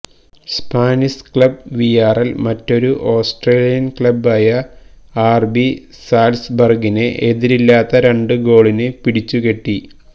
Spanish club Villarreal മറ്റൊരു Austrian ക്ലബ്ബായ R B സാല്സ്ബര്ഗിനെ എതിരില്ലാത്ത രണ്ട് ഗോളിന് പിടിച്ചുകെട്ടി